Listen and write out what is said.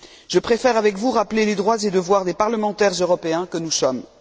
Je préfère avec vous rappeler les droits et devoirs des parlementaires européens que nous sommes.